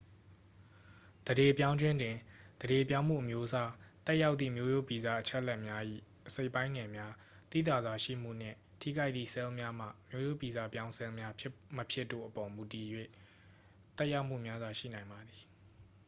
သန္ဓေပြောင်းခြင်းတွင် သန္ဓေပြောင်းမှု အမျိုးအစား သက်ရောက်သည့် မျိုးရိုးဗီဇ အချက်အလက်များ၏ အစိတ်အပိုင်းငယ်များ သိသာစွာရှိမှုနှင့် ထိခိုက်သည့် ဆဲလ်များမှာ မျိုးရိုးဗီဇပြောင်းဆဲလ်များ ဖြစ်မဖြစ်တို့အပေါ် မူတည်၍ သက်ရောက်မှုများစွာ ရှိနိုင်ပါသည်